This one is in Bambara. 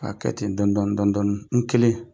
K'a kɛ ten dɔn dɔni dɔn dɔni n kelen.